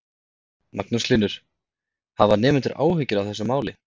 Magnús Hlynur: Hafa nemendur áhyggjur af þessu máli?